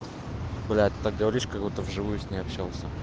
блять так говоришь как будто в живую с ней общался